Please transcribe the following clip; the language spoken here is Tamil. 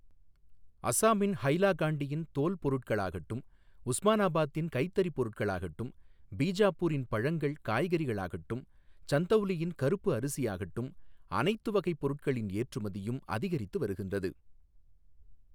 அஸாமின் ஹைலாகாண்டியின் தோல் பொருட்களாகட்டும், உஸ்மானாபாதின் கைத்தறிப் பொருட்களாகட்டும், பீஜாபூரின் பழங்கள் காய்கறிகளாகட்டும், சந்தௌலியின் கறுப்பு அரிசியாகட்டும், அனைத்து வகைப் பொருட்களின் ஏற்றுமதியும் அதிகரித்து வருகின்றது.